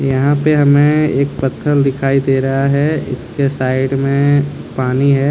यहां पे हमें एक पत्थर दिखाई दे रहा है इसके साइड में पानी है।